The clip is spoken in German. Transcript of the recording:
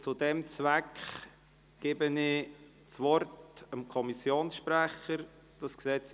Ich gebe dem Kommissionssprecher das Wort.